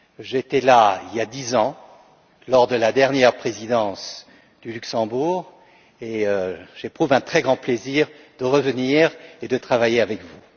J'étais là, il y a dix ans, lors de la dernière présidence du Luxembourg, et j'éprouve un très grand plaisir de revenir et de travailler avec vous.